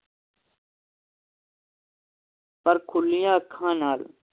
ਪਰ ਖੁੱਲੀਆਂ ਅੱਖਾਂ ਨਾਲ